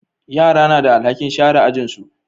Yara na da alhakin sharan ajin su